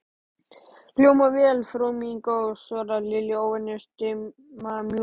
Hljómar vel, frú mín góð svaraði Lilli, óvenju stimamjúkur.